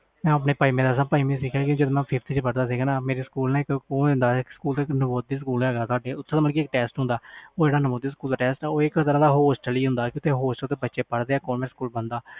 ਮੈਂ ਆਪਣੇ ਪੰਜਵੀ ਦਸਾ ਜਦੋ ਮੈਂ fifth ਵਿਚ ਪੜ੍ਹਦਾ ਸੀ ਮੇਰੇ ਸਕੂਲ ਇਕ ਖੂਹ ਹੁੰਦਾ ਸੀ ਇਕ ਮੋਦੀ ਸਕੂਲ ਹਾਂ ਗਾ ਲਗੇ ਓਥੋਂ ਤਾ test ਹੁੰਦਾ ਓਥੇ ਮੋਦੀ ਸਕੂਲ ਇਕ ਹੋਸਟਲ ਹੁੰਦਾ ਬਚੇ ਓਥੇ ਪੜਦੇ